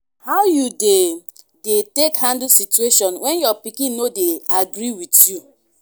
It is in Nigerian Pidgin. how you dey take handle situation when your pikin no dey agree with you?